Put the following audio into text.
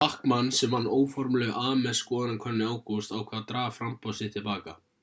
bachmann sem vann óformlegu ames-skoðanakönnunina í ágúst ákvað að draga framboð sitt til baka